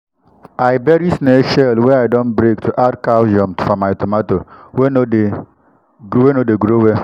i bury snail shell wey i don break to add calcium for my tomato wey no dey no dey grow well.